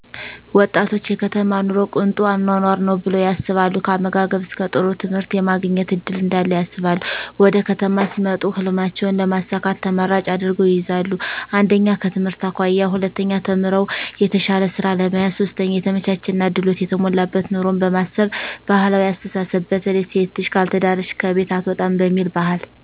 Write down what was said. ወጣቶች የከተማ ኑሮ ቅንጡ አኖኖር ነው ብለው ያስባሉ ከአመጋገብ እስከ ጥሩ ትምህርት የማግኘት እድል እዳለ ያስባሉ ወደከተማ ሲመጡ ህልሜቸውን ለማሳካት ተመራጭ አድርገው ይይዛሉ 1/ከትምህርት አኮያ 2/ተምረው የተሻለ ስራ ለመያዝ 3/የተመቻቸና ድሎት የተሞላበት ኑሮን በማሰብ ባህላዊ አስተሳስብ በተለይ ሴት ልጅ ካልተዳረች ከቤት አትውጣም እሚል ቢሂል